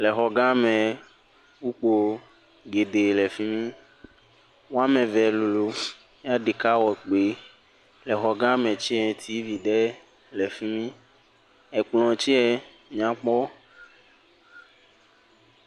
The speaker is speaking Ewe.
Le xɔ ga me kpukpoe geɖe le fim. Wɔme eve lolo eye ɖeka wɔ kpui. Exɔgame tse tivi ɖe le fi mi. Ekplɔ tse nyakpɔ.